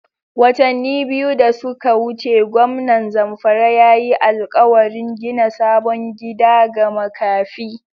Watani biyu da suka wuce gwamnan Zamfara ya yi alƙawarin gina sabon gida ga makafi.